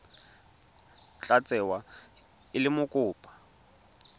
tla tsewa e le mokopa